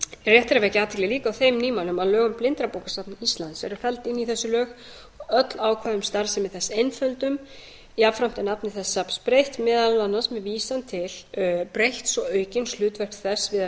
rétt er líka að vekja athygli á þeim nýmælum að lög um blindrabókasafn íslands eru felld inn í þessi lög öll ákvæði um starfsemi þess einfölduð jafnframt er nafni þess safns breytt meðal annars með vísan til breytts og aukins hlutverks þess sé að